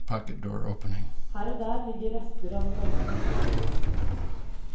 Her og der ligger rester av den gamle festningsmuren.